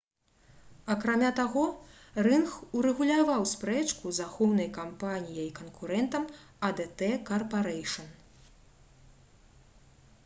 акрамя таго рынг урэгуляваў спрэчку з ахоўнай кампаніяй-канкурэнтам «адт карпарэйшн»